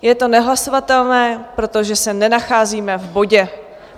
Je to nehlasovatelné, protože se nenacházíme v bodě.